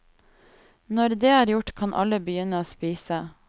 Når det er gjort, kan alle begynne å spise.